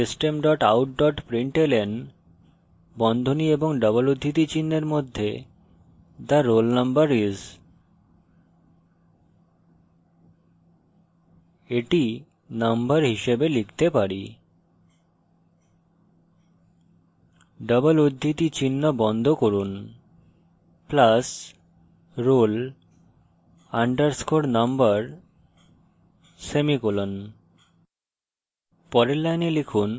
তাই লিখুন system dot out dot println বন্ধনী ও double উদ্ধৃতি চিনহের মধ্যে the roll number is the number হিসাবে লিখতে পারি; double উদ্ধৃতি চিহ্ন বন্ধ করুন + roll _ number semicolon